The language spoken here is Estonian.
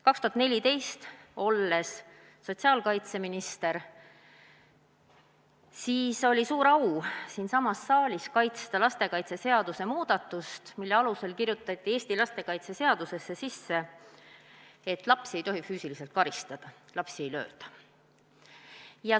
2014, olles sotsiaalkaitseminister, oli mul suur au siinsamas saalis kaitsta lastekaitseseaduse muudatust, mille alusel kirjutati Eesti lastekaitseseadusesse, et lapsi ei tohi füüsiliselt karistada, lapsi ei lööda.